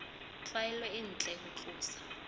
tlwaelo e ntle ho tlosa